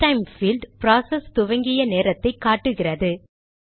எஸ்டைம் field process துவங்கிய நேரத்தை காட்டுகிறது